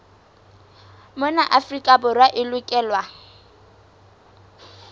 mona afrika borwa e lokelwa